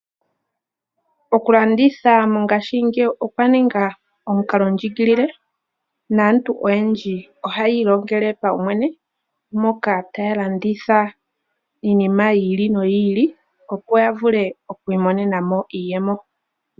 Okulanditha mongashingeyi okwa ninga omukalondjigilile naantu oyendji ohaya ilongele paumwene mpoka taya landitha iinima yi ili nyi ili opo ya vule okwiimonena mo iiyemo.